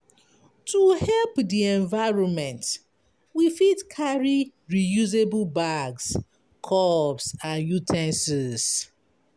To help di environment we fit carry reusable bags, cups and u ten sils